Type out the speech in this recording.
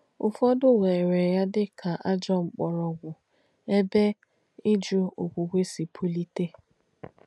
Ụ̀fọ̀dū wèrè yà dí kà àjọ́ m̀kpọ̀rọ̀gwù ebe ìjù òkwùkwē sì pùlìtē.